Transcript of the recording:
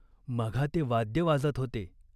मघा ते वाद्य वाजत होते.